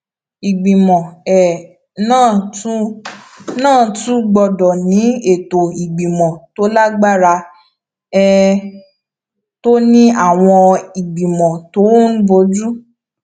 ìgbìmọ um náà tún náà tún gbọdọ ní ètò ìgbìmọ tó lágbára um tó ní àwọn ìgbìmọ tó ń bójú